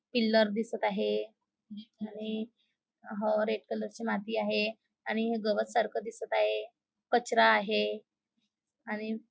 pillar दिसत आहे आणि ह रेड कलरची माती आहे आणि हे गवत सारख दिसत आहे कचरा आहे आणि--